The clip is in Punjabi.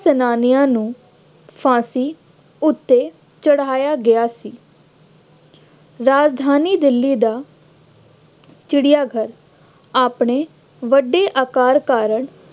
ਸੈਨਾਨੀਆਂ ਨੂੰ ਫਾਂਸੀ ਉੱਤੇ ਚੜ੍ਹਾਇਆ ਗਿਆ ਸੀ। ਰਾਜਧਾਨੀ ਦਿੱਲੀ ਦਾ ਚਿੜਿਆ ਘਰ ਆਪਣੇ ਵੱਡੇ ਆਕਾਰ ਕਾਰਨ